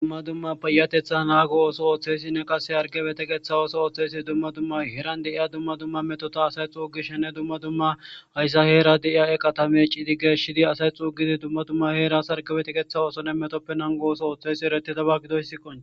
dumma dumma payateththa nago otho othes hargepe teqes dumma dumma heeran de'iya dumma dumma metota dumma dumma haysa heran de'iza eqata mecidi geshidi away xugidi dumma dumma heeran sarkapetetha othoyaysi eretiyaban qonc'c'es